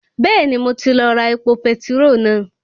Bẹ́ẹ̀ni mo ti lọ ra epo petiró náà